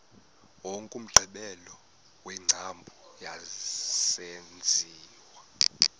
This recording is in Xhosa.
wokugqibela wengcambu yesenziwa